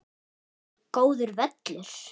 Góður völlur.